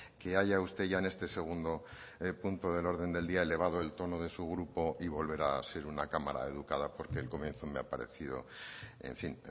que haya usted ya en este segundo punto del orden del día elevado el tono de su grupo y volver a ser una cámara educada porque el comienzo me ha parecido en fin